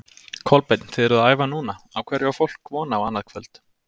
Kolbeinn, þið eruð að æfa núna, á hverju á fólk von á annað kvöld?